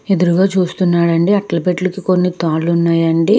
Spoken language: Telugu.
ఎదురుగా చూస్తున్నాడండి. అట్ల పెట్లకి కొన్ని తాడ్లు ఉన్నాయి అండి.